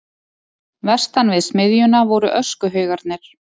Vestan við smiðjuna voru öskuhaugarnir.